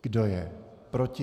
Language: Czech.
Kdo je proti?